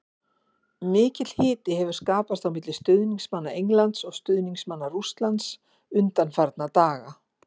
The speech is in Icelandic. Mikill hiti hefur skapast á milli stuðningsmanna Englands og stuðningsmanna Rússland undanfarna daga.